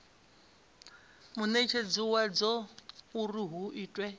munetshedzi wadzo uri hu itwe